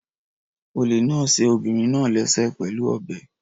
Olè náà ṣe obìnrin náà léṣe pẹ̀lú ọ̀bẹ.